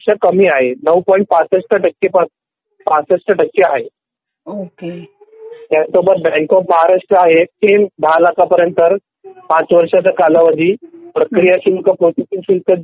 कमी आहे ९.६५ टक्के पासून आहे ह्यासोबत बँक ऑफ महाराष्ट्र आहे सेम १० लाख पर्यंत ५वर्षाचा कालावधी प्रक्रिया शुल्क प्रोसेसिंग शुल्क